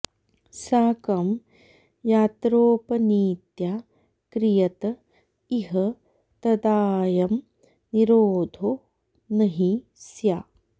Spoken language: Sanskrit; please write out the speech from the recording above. साकं यात्रोपनीत्या क्रियत इह तदाऽयं निरोधो न हि स्या